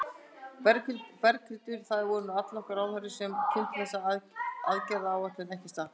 Berghildur, það voru nú allnokkrir ráðherrar sem kynntu þessa aðgerðaráætlun, ekki satt?